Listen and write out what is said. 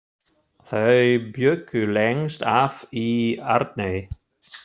Þau bjuggu lengst af í Arney.